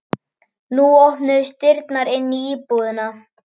Nú opnuðust dyrnar inn í íbúðina.